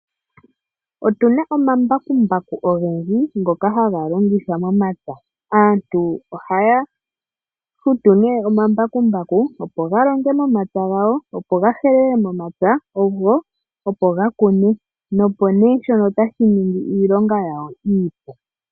Otu na omambakumbaku ogendji ngoka haga longithwa momapya. Aantu oha ya futu nee omambakumbaku opo ga longe momapya gawo opo ga helele momapya go opo ga kune nopo nee shono tashi ningi iilonga yawo iipe.